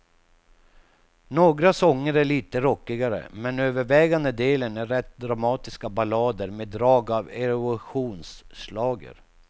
Några sånger är lite rockigare, men övervägande delen är rätt dramatiska ballader med drag av eurovisionsschlager.